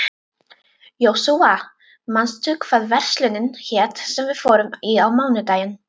Jósúa, manstu hvað verslunin hét sem við fórum í á mánudaginn?